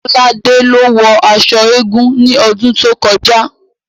Kolade ló wọ aṣọ eégún ní ọdún tó kọjá